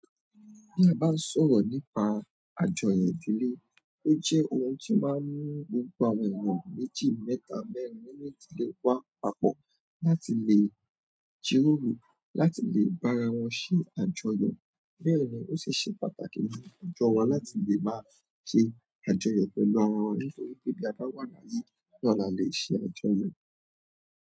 Bí a bá sọ̀rọ̀ nípa àjọyọ̀ ìdílé, ó jẹ́ ohun tí máa ń mú gbogbo àwọn ènìyàn méjì, mẹ́ta, mẹ́rin nínú ìdílé wa papọ̀ láti lè jíròrò láti lè bá ara wọn ṣe àjọyọ̀. Bẹ́ẹ̀ ni, ó sì ṣe pàtàkì fún àjọ wa láti lè máa ṣe àjọyọ̀ pẹ̀lú ara wa nítorí pé bí a bá wà láyé náà la lè ṣe àjọyọ̀.